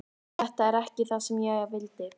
Þetta er ekki það sem ég vildi.